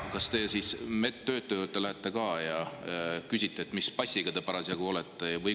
… kas te siis selle medtöötaja käest ka küsite, mis pass tal parasjagu on?